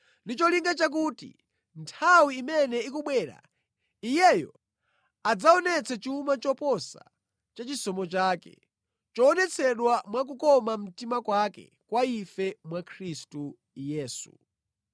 ndi cholinga chakuti mʼnthawi imene ikubwera, Iyeyo adzaonetse chuma choposa cha chisomo chake, choonetsedwa mwa kukoma mtima kwake kwa ife mwa Khristu Yesu.